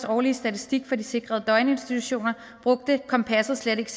årlige statistik for de sikrede døgninstitutioner brugte kompasset slet